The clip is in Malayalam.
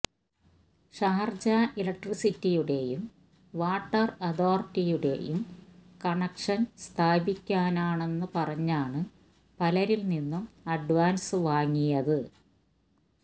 ഷാര്ജ എലക്ട്രിസിറ്റിയുടെയും വാട്ടര് അതോറിറ്റിയുടെയും കണക്ഷന് സ്ഥാപിക്കാനെന്നു പറഞ്ഞാണ് പലരില് നിന്നും അഡ്വാന്സ് വാങ്ങിയത്